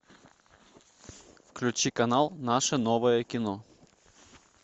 включи канал наше новое кино